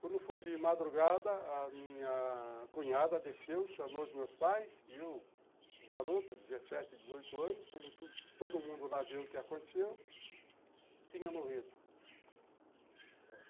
Quando foi de madrugada, a minha cunhada desceu, chamou os meus pais e eu, garoto, dezessete, dezoito anos, como todo mundo lá viu o que aconteceu, tinha morrido. Nossa!